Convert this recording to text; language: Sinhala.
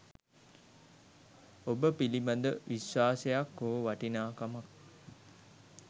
ඔබ පිළිබඳ විශ්වාසයක් හෝ වටිනාකමක්